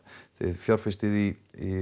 fjárfestið í